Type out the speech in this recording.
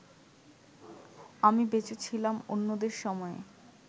আমি বেঁচে ছিলাম অন্যদের সময়ে